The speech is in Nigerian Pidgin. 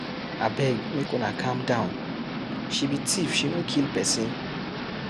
Abeg make una calm down, she be thief she no kill person.